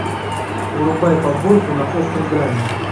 врубай подборку на острой грани